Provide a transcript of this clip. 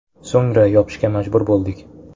So‘ngra yopishga majbur bo‘ldik.